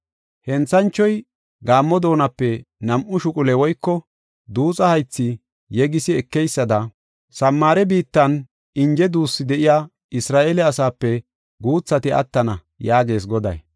“Henthanchoy gaammo doonape nam7u shuqule woyko duuxa haythi yegisi ekeysada, Samaare biittan inje duussu de7iya Isra7eele asaape guuthati attana” yaagees Goday.